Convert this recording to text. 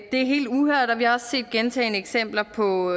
er helt uhørt og vi har også set gentagne eksempler på